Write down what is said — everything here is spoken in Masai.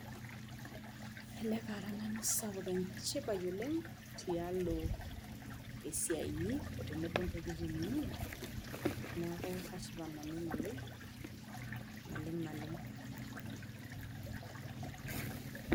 Ele kara nanu enchipai sapuk oleng tialo esiai inyi tenebo ontokitin inyi niaku kashipa nanu naleng naleng.